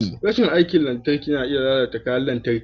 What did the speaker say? Rashin aikin lantarki na iya lalata kayan lantarki.